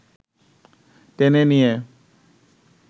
টেনে নিয়ে